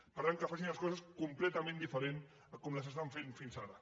per tant que facin les coses completament diferent a com les estan fent fins ara